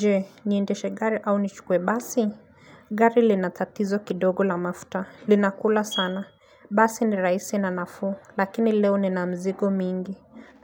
Je niendeshe gari au nichukue basi Gari lina tatizo kidogo la mafuta Linakula sana Basi ni raisi na nafuu Lakini leo nina mzigo mingi